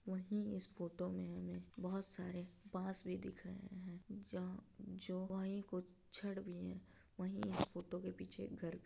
वहीं इस फोटो मे हमें बहोत सारे बाँस भी दिख रहे हैं। जहाँ जो वहीं गुच्छड भी है। वहीं इस फोटो के पीछे एक घर --